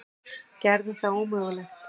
Gerði það ómögulegt.